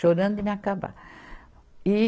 chorando de me acabar. e